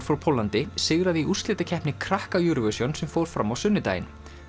frá Póllandi sigraði í úrslitakeppni krakka Eurovision sem fór fram á sunnudaginn